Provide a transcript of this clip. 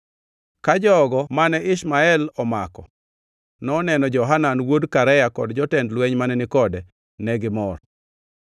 Ka jogo mane nigi Ishmael omako noneno Johanan wuod Karea kod jotend lweny mane ni kode, negimor.